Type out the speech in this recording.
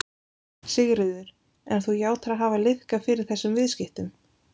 Sigríður: En þú játar að hafa liðkað fyrir þessum viðskiptum?